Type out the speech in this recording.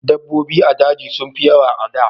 Dabobbi a daji sun fi yawa a da